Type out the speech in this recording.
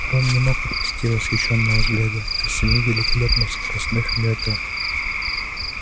рон не мог отвести восхищённого взгляда от семи великолепных скоростных мётел